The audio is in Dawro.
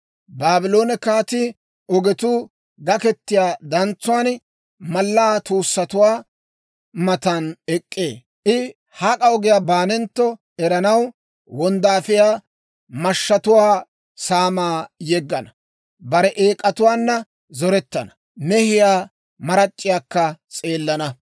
Baabloone kaatii ogetuu gakketiyaa dantsuwaan, mallaa tuussatuwaa matan ek'k'ee. I hak'a ogiyaa baanentto eranaw, wonddaafiyaa mashshatuwaa saamaa yeggana; bare eek'atuwaanna zorettana; mehiyaa marac'c'iyaakka s'eelana.